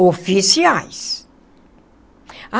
Oficiais!